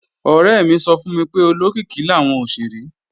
Ọ̀rẹ́ mi sọ fún mi pé olókìkí làwọn òṣèré